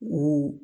U